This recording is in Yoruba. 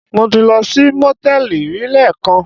Mo ti lọ sí Mòtẹ́lì rí lẹ́ẹ̀kan.